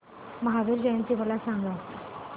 महावीर जयंती मला सांगा